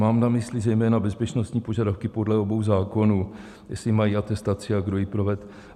Mám na mysli zejména bezpečnostní požadavky podle obou zákonů, jestli mají atestaci a kdo ji provedl.